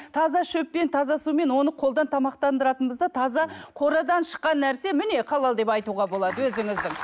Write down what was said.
таза шөппен таза сумен оны қолдан тамақтандыратынбыз да таза қорадан шыққан нәрсе міне халал деп айтуға болады өзіміздің